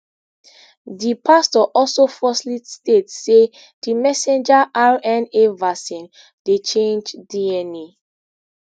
di pastor also falsely state say di messenger rna vaccine dey change dna